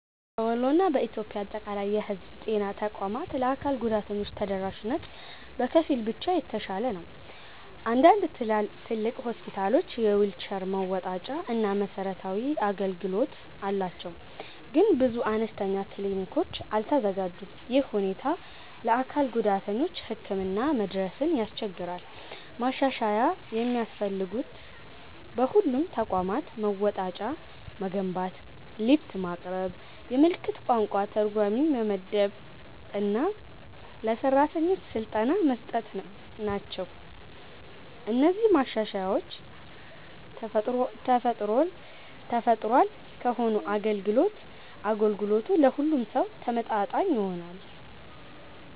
በወሎ እና በኢትዮጵያ አጠቃላይ የህዝብ ጤና ተቋማት ለአካል ጉዳተኞች ተደራሽነት በከፊል ብቻ የተሻሻለ ነው። አንዳንድ ትልቅ ሆስፒታሎች የዊልቸር መወጣጫ እና መሰረታዊ አገልግሎት አላቸው፣ ግን ብዙ አነስተኛ ክሊኒኮች አልተዘጋጁም። ይህ ሁኔታ ለአካል ጉዳተኞች ህክምና መድረስን ያስቸግራል። ማሻሻያ የሚያስፈልጉት በሁሉም ተቋማት መወጣጫ መገንባት፣ ሊፍት ማቅረብ፣ የምልክት ቋንቋ ተርጓሚ መመደብ እና ለሰራተኞች ስልጠና መስጠት ናቸው። እነዚህ ማሻሻያዎች ተፈጥሯል ከሆነ አገልግሎቱ ለሁሉም ሰው ተመጣጣኝ ይሆናል።